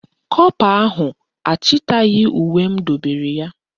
Kọpa ahụ achịtaghị uwe m dobere ya